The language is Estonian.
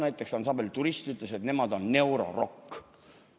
Näiteks ansambel Turist ütles, et nemad on neurorock.